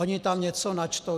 Oni tam něco načtou.